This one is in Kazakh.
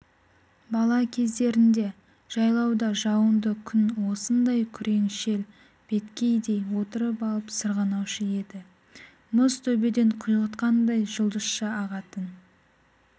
бала кездерінде жайлауда жауынды күн осындай күреңшел беткейден отырып алып сырғанаушы еді мұз төбеден құйғытқандай жұлдызша ағатын